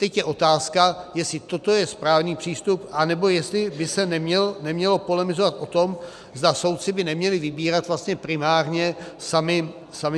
Teď je otázka, jestli toto je správný přístup, anebo jestli by se nemělo polemizovat o tom, zda soudci by neměli vybírat vlastně primárně sami sebe.